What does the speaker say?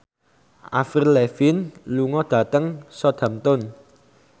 Avril Lavigne lunga dhateng Southampton